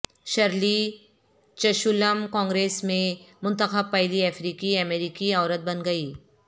surely Chisholm Congress میں منتخب پہلی افریقی امریکی عورت بن گئی